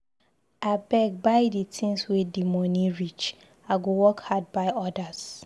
Abeg buy di tins wey di moni reach, I go work hard buy odas.